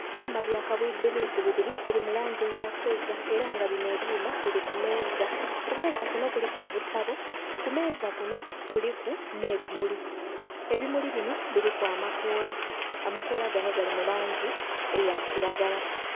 Ebyuma bya kabwidhi bwidhi bibiri biri mu langi eya feeza era nga bino ebyuma biri kumeeza, kumeeza kuno kuliku obutabo, kumeeza kuno kuliku n'ebimuli. Ebimuli bino biriku amakoola, amakoola gano gali mu langi eya kiragala.